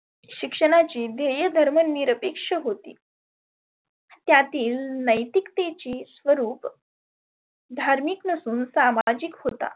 शिक्षणाची ध्येय धर्म निरपेक्ष होती. त्यातील नैतिकतेची स्वरुप धार्मीक नसुन सामाजीक होता.